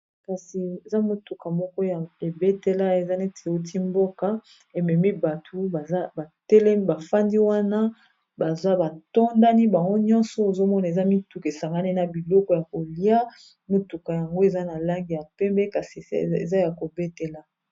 Kasi eza motuka moko ya ebetela eza neti euti mboka ememi bato baza batele bafandi wana baza batondani bango nyonso ,ozomona eza mituka esangane na biloko ya kolia motuka yango eza na lange ya pembe kasi se eza ya kobetela.